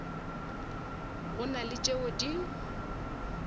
go na le tšeo di